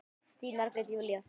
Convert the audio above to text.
Þín Margrét Júlía.